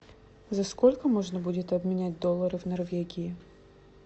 за сколько можно будет обменять доллары в норвегии